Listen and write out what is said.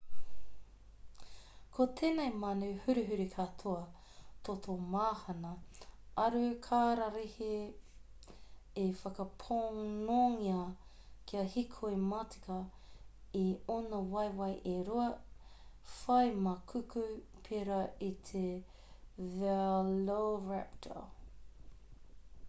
ko tēnei manu huruhuru katoa toto mahana aru kararehe i whakaponongia kia hīkoi matika i ōna waewae e rua whai maikuku pērā i te veloiraptor